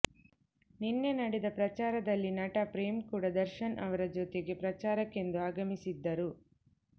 ನಿನ್ನೆ ನಡೆದ ಪ್ರಚಾರದಲ್ಲಿ ನಟ ಪ್ರೇಮ್ ಕೂಡ ದರ್ಶನ್ ಅವರ ಜೊತೆಗೆ ಪ್ರಚಾರಕ್ಕೆಂದು ಆಗಮಿಸಿದ್ದರು